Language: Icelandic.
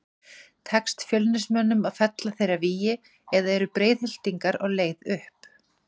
Tekst Fjölnismönnum að fella þeirra vígi eða eru Breiðhyltingar á leið upp?